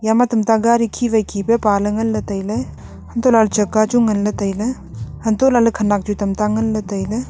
ama tamta gadi khi wai khi ka pale nganley tailey untohlah chakka chu nganley tailey untohlah ley khenak chu tamta nganley tailey.